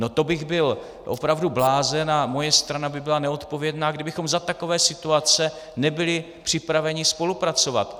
No to bych byl opravdu blázen a moje strana by byla neodpovědná, kdybychom za takové situace nebyli připraveni spolupracovat.